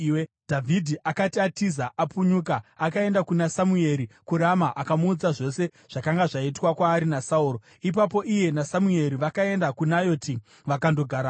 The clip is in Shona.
Dhavhidhi akati atiza, apunyuka, akaenda kuna Samueri kuRama akamuudza zvose zvakanga zvaitwa kwaari naSauro. Ipapo iye naSamueri vakaenda kuNayoti vakandogarako.